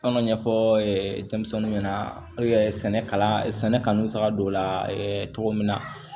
An ka ɲɛfɔ denmisɛninw ɲɛna sɛnɛ kalan sɛnɛ kanu bɛ se ka don o la cogo min na